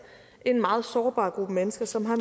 en meget sårbar gruppe mennesker som har